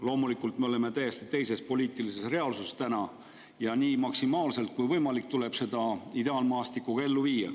Loomulikult me oleme täna täiesti teises poliitilises reaalsuses ja nii maksimaalselt, kui võimalik, tuleb seda ideaalmaastikku ka ellu viia.